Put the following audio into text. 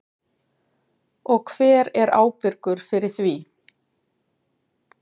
Og hver er ábyrgur fyrir því?